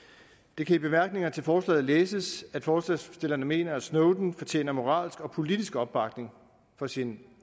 det kan i bemærkningerne til forslaget læses at forslagsstillerne mener at snowden fortjener moralsk og politisk opbakning for sine